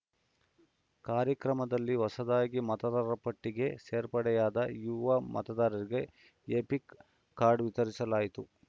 ಕಾರ್ಯಕ್ರಮದಲ್ಲಿ ಹೊಸದಾಗಿ ಮತದಾರರ ಪಟ್ಟಿಗೆ ಸೇರ್ಪಡೆಯಾದ ಯುವ ಮತದಾರರಿಗೆ ಎಪಿಕ್‌ ಕಾರ್ಡ್‌ ವಿತರಿಸಲಾಯಿತು